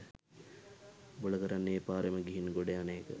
උබල කරන්නේ ඒ පාරේම ගිහින් ගොඩ යන එක